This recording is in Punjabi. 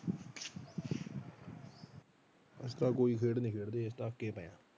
ਅਸੀਂ ਤਾਂ ਕੋਈ ਖੇਡ ਨੀ ਖੇਡਦੇ